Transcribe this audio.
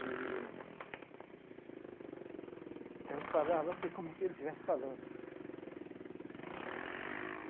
E... Então, eu falava assim como se ele estivesse falando.